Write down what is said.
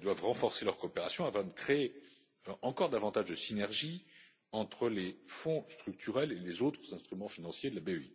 doivent renforcer leur coopération afin de créer encore davantage de synergies entre les Fonds structurels et les autres instruments financiers de la BEI.